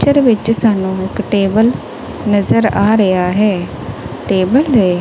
picture ਵਿੱਚ ਸਾਨੂੰ ਇੱਕ ਟੇਬਲ ਨਜ਼ਰ ਆ ਰਿਹਾ ਹੈ ਟੇਬਲ --